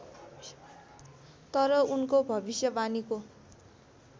तर उनको भविष्यवाणीको